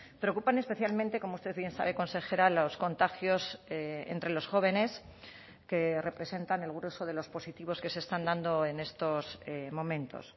preocupan especialmente como usted bien sabe consejera los contagios entre los jóvenes que representan el grueso de los positivos que se están dando en estos momentos